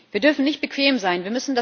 Wir dürfen nicht bequem sein.